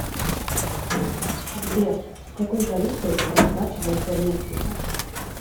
сбер какой валютой расплачиваются в мексике